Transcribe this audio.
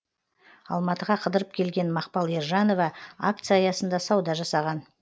алматыға қыдырып келген мақпал ержанова акция аясында сауда жасаған